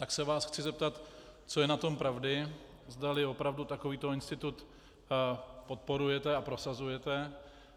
Tak se vás chci zeptat, co je na tom pravdy, zdali opravdu takovýto institut podporujete a prosazujete